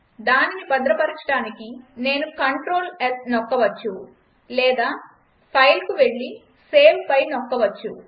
దానిని భద్రపరచడానికి నేను Clts నొక్కవచ్చు లేదా ఫైల్కు వెళ్లి సేవ్పై నొక్కవచ్చు